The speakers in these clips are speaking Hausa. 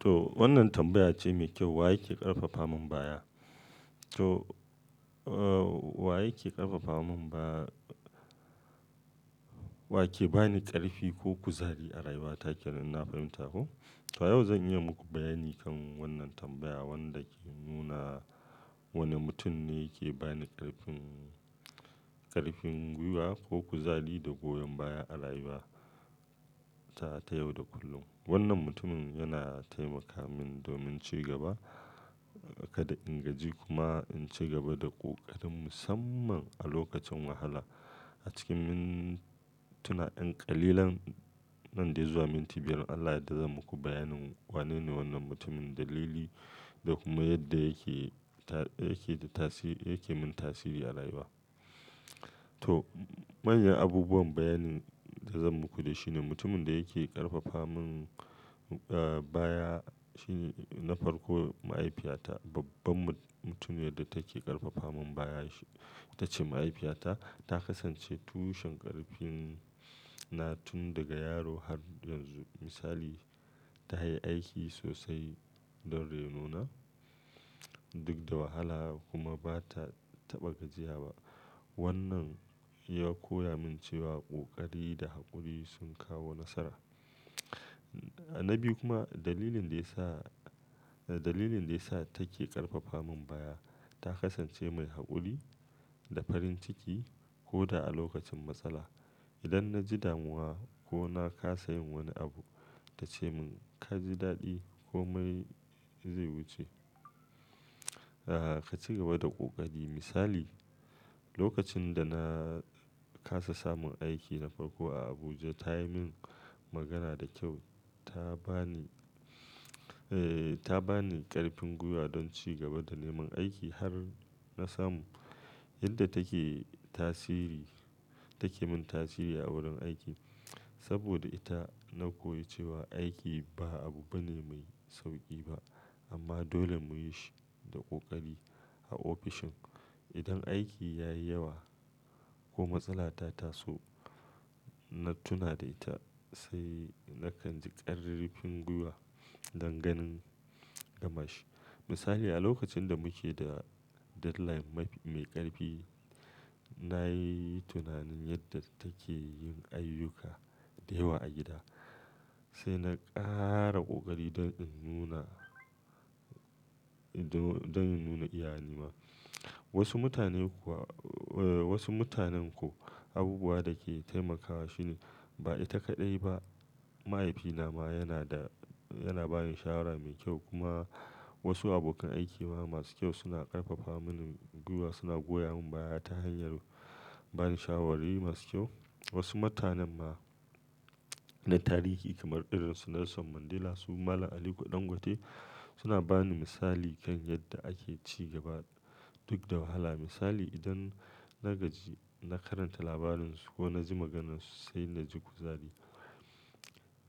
To wannan tambaya ce mai kyau, wa yake ƙarfafa min baya? To, wa yake ƙarfafa min ba-- wa ke ba ni ƙarfi ko kuzari a rayuwa ta ke? Idan na fahimta ko. To yau zan yi muku bayani kan wannan tambaya wanda ke nuna wane mutum ne yake ba ni ƙarfin, ƙarfin gwiwa ko kuzari da goyon baya a rayuwata ta yau da kullum. Wannan mutumin yana taimaka min domin ci gaba, kada in gaji kuma in ci gaba da ƙoƙarin musamman a lokacin wahala. A cikin mintuna ƴan ƙalilan nan dai zuwa minti biyar Allah da zan muku bayanin wanene wannan mutumin, dalili da kuma yadda yake ta, yake da tasiri, yake min tasiri a rayuwa. To manyan abubuwan bayanin da zan muku da shi ne mutumin da yake ƙarfafa min, baya shi na farko mahaifiyata. Babban mutumiyar da take ƙarfafa min baya ita ce mahaifiyata. Ta kasance tushen ƙarfin na tun daga yaro har yanzu. Misali, ta haye aiki sosai don raino na duk da wahala kuma ba ta taɓa gajiya ba. Wannan ya koya min cewa ƙoƙari da haƙuri sun kawo nasara. Na biyu kuma dalilin da ya sa, dalilin da ya sa take ƙarfafa min baya, ta kasance mai haƙuri da farin ciki ko da a lokacin matsala. Idan na ji damuwa ko na kasa yin wani abu, ta ce mun ka ji daɗi ko mai zai wuce. Ka ci gaba da ƙoƙari. Misali, lokacin da na kasa samun aiki na farko a Abuja ta yi min magana da kyau. Ta ba ni, eh, ta ba ni ƙarfin gwiwa don ci gaba da neman aiki har na samu. Yadda take tasiri, take min tasiri a wurin aiki. Saboda ita na koyi cewa aiki ba abu bane mai sauƙi ba amma dole mu yi shi da ƙoƙari. A ofishin idan aiki ya yi yawa ko matsala ta taso na tuna da ita sai nakan ji ƙarfin gwiwa don ganin gamashi. Misali a lokacin da muke da deadline mai ƙarfi, na yi tunanin yadda take yin ayyuka da yawa a gida sai na ƙara ƙoƙari don in nuna, don in nuna iyani ma. Wasu mutane kuwa, wasu mutanen kuwa abubuwa da ke taimakawa shine ba ita kaɗai ba, mahaifina ma yana da, yana ba ni shawara mai kyau. Kuma wasu abokan aiki masu kyau suna ƙarfafa mini gwiwa, suna goya min baya ta hanyar bani shawari masu kyau. Wasu mutanen ma na tarihi kamar irin su Nelson Mandela su Malam Ali Ɗangote suna ba ni misali kan yadda ake ci gaba duk da wahala. Misali idan na gaji na karanta labarin su ko na ji maganarsu sai na ji kuzari.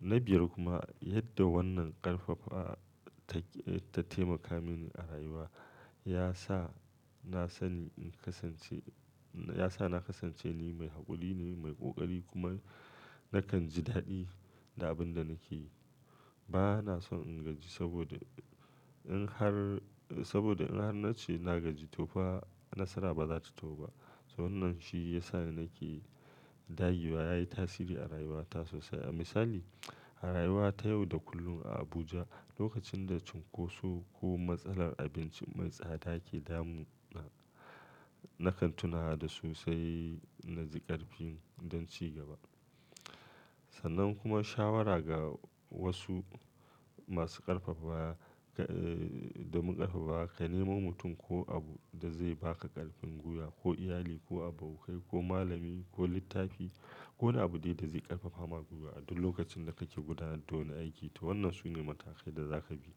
Na biyar kuma yadda wannan ƙarfafa ta, ta taimaka mini a rayuwa ya sa na sani in kasance, ya sa na kasance ni mai haƙuri ne, mai ƙoƙari kuma nakan ji daɗi da abin da nake yi. Ba na son in gaji saboda in har, saboda in har na ce na gaji to fa nasara ba za ta zo ba. To wannan shi ya sa nake da yiwa yayi tasiri a rayuwata sosai. Misali a rayuwa ta yau da kullum a Abuja lokacin da cunkoso ko matsalar abinci mai tsada ke damu na, na kan tuna da su sai na ji ƙarfin don ci gaba. Sannan kuma shawara ga wasu masu ƙarfafa, da mun ƙarfafa, ka nemo mutum ko abu da zai ba ka ƙarfin gwiwa ko iyali ko abokai ko malami ko littafi ko abu dai da zai ƙarfafa ma gwiwa duk lokacin da kake gudanar da wani aiki to wannan sune matakai da za ka bi.